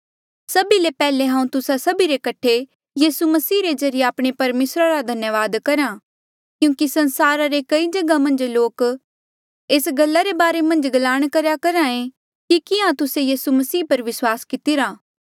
सभी ले पैहले हांऊँ तुस्सा सभी रे कठे यीसू मसीहा रे ज्रीए आपणे परमेसरा रा धन्यावाद करहा क्यूंकि संसारा रे कई जगहा मन्झ लोक एस गल्ला रे बारे मन्झ गलांण करेया करहा ऐें कि कियां तुस्से यीसू मसीह पर विस्वास कितिरा